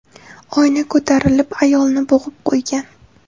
Oyna ko‘tarilib ayolni bo‘g‘ib qo‘ygan.